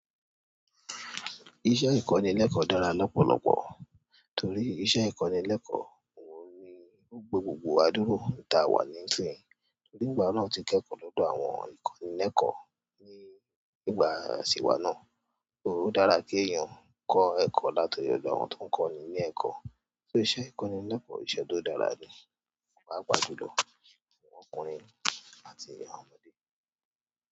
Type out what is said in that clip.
Iṣẹ́ ìkọ́nilẹ́kọ̀ọ́ dára lọ́pọ̀lọ́pọ̀ torí iṣẹ́ ìkọ́nilẹ́kọ̀ọ́ òun ni ó gbe gbogbo wà dúrà ta wa ní sín. Torí ìgbà náà tí kẹ́kọ̀ọ́ lọ́dọ̀ àwọn ìkọ́nilẹ́kọ̀ọ́ ní ìgbà tì wá náà. Ó dára kí èèyàn kọ́ ẹ̀kọ́ látí ọ̀dọ̀ àwọn tó ń kọ́ni ní ẹ̀kọ́. Só iṣẹ́ ìkọ́nilẹ́kọ̀ọ́ ìṣẹ́ tó dára ni, paapa ju lọ fún ọkùnrin àti àwón ọmọdé.